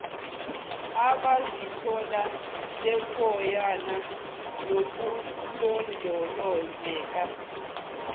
abazithola bekuyona nokulondolozeka